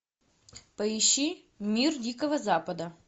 поищи мир дикого запада